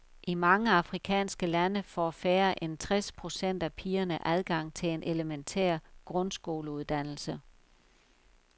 I mange afrikanske lande får færre end tres procent af pigerne adgang til en elementær grundsskoleuddannelse.